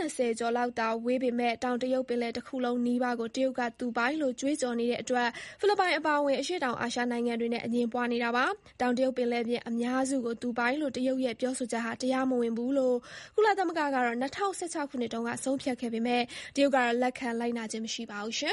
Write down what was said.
၂၀ ကျော်လောက်သာဝေးပေမဲ့ တောင်ရုတ်ပင်လယ်ပြင်တခုလုံးနီးပါးကို တရုတ်က သူပိုင်လို့ ကြွေးကြော်နေတဲ့အတွက် ဖိလစ်ပိုင်အပါအဝင် အရှေ့တောင်အာရှနိုင်ငံတွေနဲ့အငြင်းပွားနေတာပါ။ တောင်တရုတ်ပင်လယ်ပြင်အများစုကိုသူပိုင်လို့တရုတ်ရဲ့ပြောဆိုချက်ဟာ တရားမဝင်ဘူးလို့ ကုလသမဂ္ဂက ၂၀၁၆ ခုနှစ်တုန်းကဆုံးဖြတ်ခဲ့ပေမယ့် တရုတ်ကတော့လက်ခံလိုက်နာခြင်းမရှိပါဘူး။